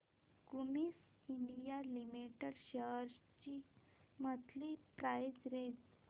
Cummins India limited shares ची monthly price range